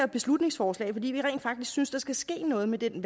beslutningsforslag fordi vi rent faktisk synes at der skal ske noget med den